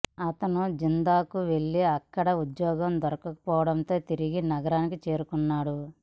అతను జిద్దాకు వెల్లి అక్కడ ఉద్యోగం దొరకపోవడంతో తిరిగి నగరానికి చేరుకున్నాడు